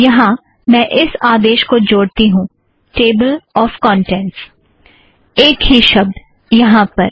यहाँ मैं इस आदेश को जोड़ती हूँ - टेबल ऑफ़ कौंटेंट्स एक ही शब्द यहाँ पर